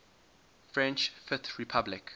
french fifth republic